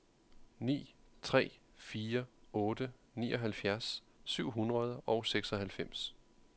ni tre fire otte nioghalvfjerds syv hundrede og seksoghalvfems